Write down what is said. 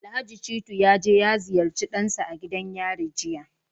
Alhaji Shittu ya je ya ziyarci dansa a gidan yari jiya